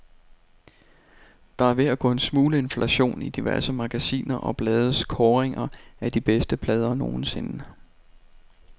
Der er ved at gå en smule inflation i diverse magasiner og blades kåringer af de bedste plader nogensinde.